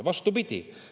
Vastupidi.